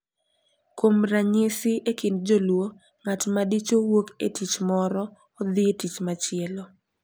Kuom ranyisi, e kind Joluo, ng’at ma dichwo wuok e tich moro odhi e tich machielo –